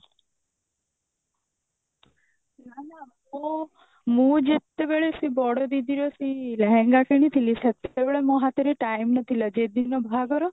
ନା ନା ମୁଁ ଯେତେବେଳେ ସେ ବଡ ଦିଦିର ସେଇ ଲେହେଙ୍ଗା କିଣିଥିଲି ସେତେବେଳେ ମୋ ହାତରେ time ନଥିଲା ଯେଦିନ ବାହାଘର